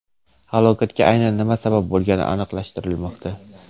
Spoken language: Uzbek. Halokatga aynan nima sabab bo‘lgani aniqlashtirilmoqda.